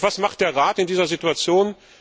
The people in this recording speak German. Doch was macht der Rat in dieser Situation?